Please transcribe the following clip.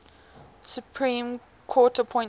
supreme court appointments